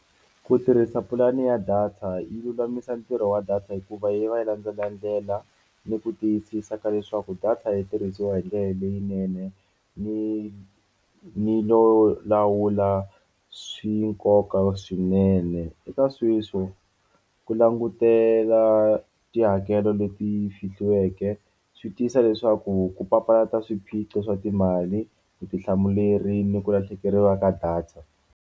Ku tirhisa pulani ya data yi lulamisa ntirho wa data hikuva yi va yi landzelela ndlela ni ku tiyisisa ka leswaku data yi tirhisiwa hi ndlela leyinene ni lawula swi nkoka swinene eka sweswo ku langutela tihakelo leti fihliweke swi tisa leswaku ku papalata swiphiqo swa timali vutihlamuleri ni ku lahlekeriwa ka data.